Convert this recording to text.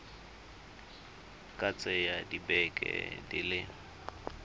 ka tsaya dibeke di le